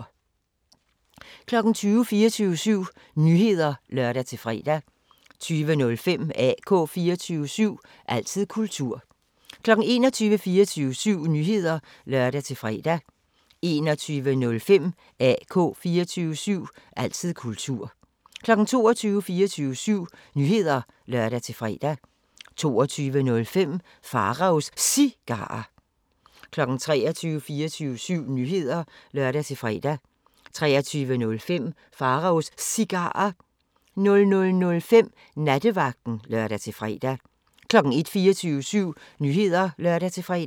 20:00: 24syv Nyheder (lør-fre) 20:05: AK 24syv – altid kultur 21:00: 24syv Nyheder (lør-fre) 21:05: AK 24syv – altid kultur 22:00: 24syv Nyheder (lør-fre) 22:05: Pharaos Cigarer 23:00: 24syv Nyheder (lør-fre) 23:05: Pharaos Cigarer 00:05: Nattevagten (lør-fre) 01:00: 24syv Nyheder (lør-fre)